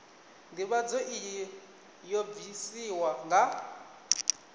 ndivhadzo iyi yo bvisiwa nga